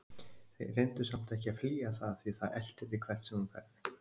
Reyndu samt ekki að flýja það því það eltir þig hvert sem þú ferð.